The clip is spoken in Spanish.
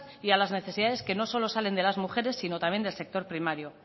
y a las necesidades que no solo salen de las mujeres sino también del sector primario